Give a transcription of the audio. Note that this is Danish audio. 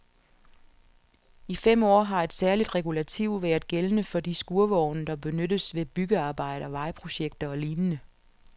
I fem år har et særligt regulativ været gældende for de skurvogne, der benyttes ved byggearbejder, vejprojekter og lignende.